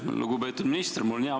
Aitäh, lugupeetud minister!